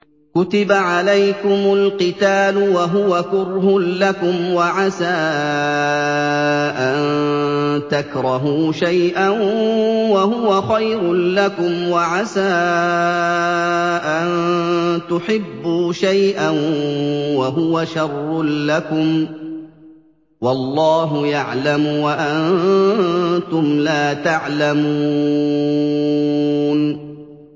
كُتِبَ عَلَيْكُمُ الْقِتَالُ وَهُوَ كُرْهٌ لَّكُمْ ۖ وَعَسَىٰ أَن تَكْرَهُوا شَيْئًا وَهُوَ خَيْرٌ لَّكُمْ ۖ وَعَسَىٰ أَن تُحِبُّوا شَيْئًا وَهُوَ شَرٌّ لَّكُمْ ۗ وَاللَّهُ يَعْلَمُ وَأَنتُمْ لَا تَعْلَمُونَ